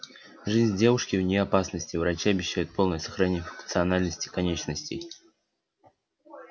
жизнь девушки вне опасности врачи обещают полное сохранение функциональности конечностей